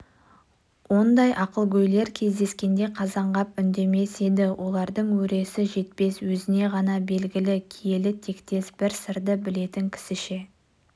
ондай ақылгөйлер кездескенде қазанғап үндемес еді олардың өресі жетпес өзіне ғана белгілі киелі тектес бір сырды білетін кісіше